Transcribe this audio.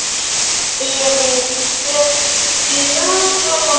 Berið bökuna fram volga.